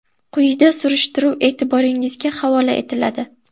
Quyida surishtiruv e’tiboringizga havola etiladi.